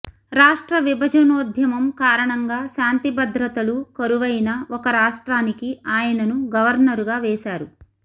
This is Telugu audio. రాష్ట్రవిభజనోద్యమం కారణంగా శాంతిభద్రతలు కరువైన ఒక రాష్ట్రానికి ఆయనను గవర్నరుగా వేశారు